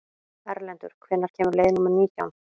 Erlendur, hvenær kemur leið númer nítján?